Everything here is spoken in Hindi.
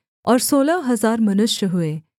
और सोलह हजार मनुष्य हुए